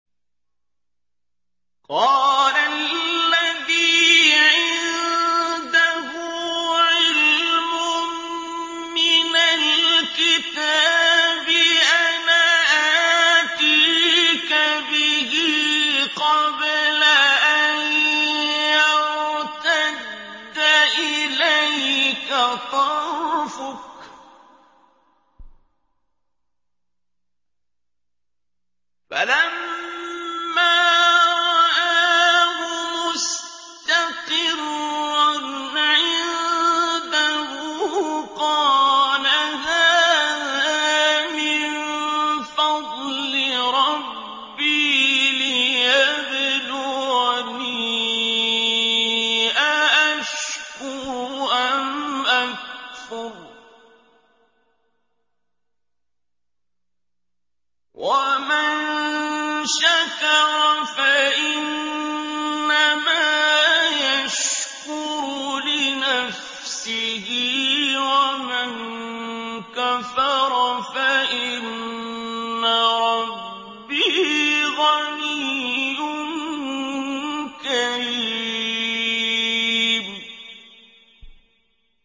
قَالَ الَّذِي عِندَهُ عِلْمٌ مِّنَ الْكِتَابِ أَنَا آتِيكَ بِهِ قَبْلَ أَن يَرْتَدَّ إِلَيْكَ طَرْفُكَ ۚ فَلَمَّا رَآهُ مُسْتَقِرًّا عِندَهُ قَالَ هَٰذَا مِن فَضْلِ رَبِّي لِيَبْلُوَنِي أَأَشْكُرُ أَمْ أَكْفُرُ ۖ وَمَن شَكَرَ فَإِنَّمَا يَشْكُرُ لِنَفْسِهِ ۖ وَمَن كَفَرَ فَإِنَّ رَبِّي غَنِيٌّ كَرِيمٌ